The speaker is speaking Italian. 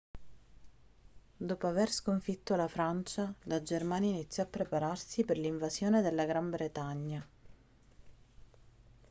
dopo aver sconfitto la francia la germania iniziò a prepararsi per l'invasione della gran bretagna